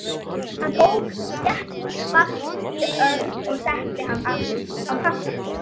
Hann tók þéttingsfast í Örn og setti hann aftur á kassann.